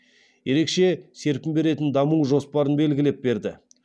ерекше серпін беретін даму жоспарын белгілеп берді